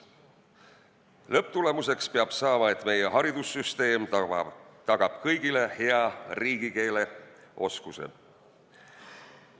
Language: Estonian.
Lõpptulemuseks peab saama, et meie haridussüsteem tagaks kõigile hea riigikeeleoskuse.